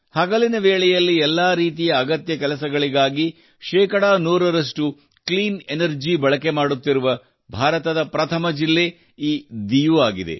ಹಗಲಿನ ವೇಳೆಯಲ್ಲಿ ಎಲ್ಲ ರೀತಿಯ ಅಗತ್ಯ ಕೆಲಸಗಳಿಗಾಗಿ ಶೇಕಡಾ ನೂರರಷ್ಟು ಕ್ಲೀನ್ ಎನರ್ಜಿ ಬಳಕೆ ಮಾಡುತ್ತಿರುವ ಭಾರತದ ಪ್ರಥಮ ಜಿಲ್ಲೆ ಈ ದ್ವೀಪವಾಗಿದೆ